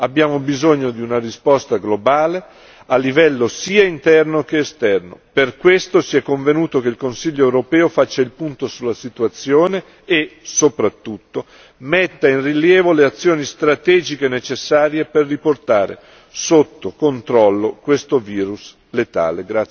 Abbiamo bisogno di una risposta globale a livello sia interno che esterno, per questo si è convenuto che il Consiglio europeo faccia il punto sulla situazione e soprattutto metta a rilievo le azioni strategiche necessarie per riportare sotto controllo questo virus letale.